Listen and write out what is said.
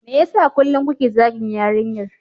Me yasa kullum kuke zagin yarinyar?